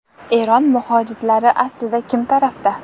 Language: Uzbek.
Eron mujohidlari aslida kim tarafda?